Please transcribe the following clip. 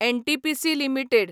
NTPC limited